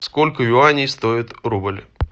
сколько юаней стоит рубль